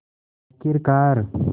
आख़िरकार